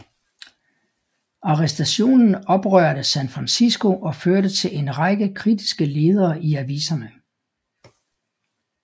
Arrestationen oprørte San Francisco og førte til en række kritiske ledere i aviserne